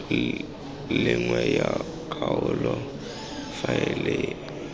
le nngwe ya kgaolo faele